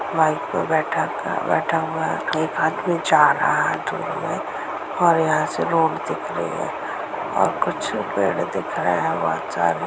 bike पर बैठा बैठा हुआ है एक आदमी जा रहा है और यहां से रोड दिख रही है और कुछ पेड़ दिख रहे हैं बहोत सारे--